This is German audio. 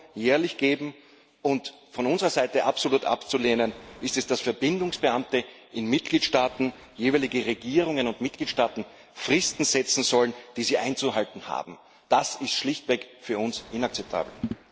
EUR geben, und von unserer Seite absolut abzulehnen ist es, dass Verbindungsbeamte in Mitgliedstaaten jeweiligen Regierungen und Mitgliedstaaten Fristen setzen sollen, die sie einzuhalten haben. Das ist für uns schlichtweg inakzeptabel.